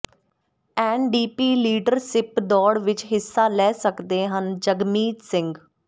NDP leadership ਦੌੜ ਵਿੱਚ ਹਿੱਸਾ ਲੈ ਸਕਦੇ ਹਨ ਜਗਮੀਤ ਸਿੰਘ